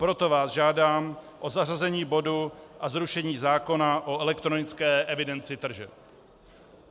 Proto vás žádám o zařazení bodu o zrušení zákona o elektronické evidenci tržeb.